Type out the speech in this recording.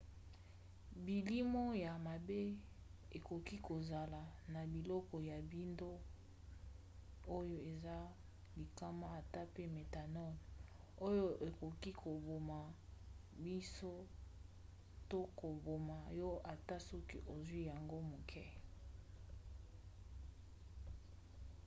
bilimo ya mabe ekoki kozala na biloko ya mbindo oyo eza likama ata pe méthanol oyo ekoki koboma miso to koboma yo ata soki ozwi yango moke mpenza